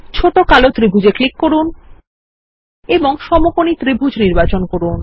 ছোট কালো ত্রিভুজ এ ক্লিক করুন এবং সমকোণী ত্রিভুজ নির্বাচন করুন